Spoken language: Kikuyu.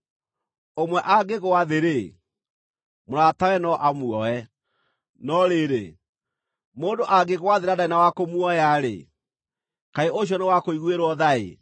Ũmwe angĩgũa thĩ-rĩ, mũratawe no amuoe. No rĩrĩ, mũndũ angĩgũa thĩ na ndarĩ na wa kũmuoya-rĩ, kaĩ ũcio nĩ wa kũiguĩrwo tha-ĩ!